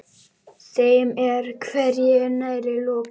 Þeim er hvergi nærri lokið.